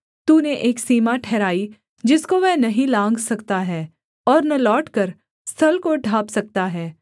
तूने एक सीमा ठहराई जिसको वह नहीं लाँघ सकता है और न लौटकर स्थल को ढाँप सकता है